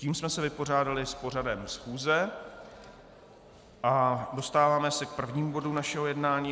Tím jsme se vypořádali s pořadem schůze a dostáváme se k prvnímu bodu našeho jednání.